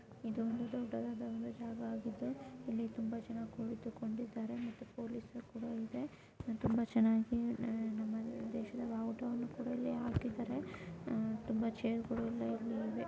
ಇದೊಂದು ದೊಡ್ಡದಾದ ಒಂದು ಜಾಗಆಗಿದ್ದು ಇಲ್ಲಿ ತುಂಬಾ ಜನ ಕುಳಿತುಕೊಂಡಿದ್ದಾರೆ ಮತ್ತು ಪೊಲೀಸ್ ಕೂಡ ಇದೆ. ತುಂಬಾ ಚೆನ್ನಾಗಿ ನಮ್ಮ ದೇಶದ ಭಾವುಟವನ್ನು ಕೂಡ ಇಲ್ಲಿ ಹಾಕಿದ್ದಾರೆ. ಅಹ್ ತುಂಬಾ ಚೇರ್ಗು ಳು ಎಲ್ಲ ಇಲ್ಲಿ ಇವೆ.